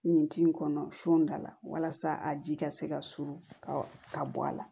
Nin tin kɔnɔ su da la walasa a ji ka se ka suru ka bɔ a la